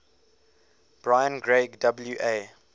brian greig wa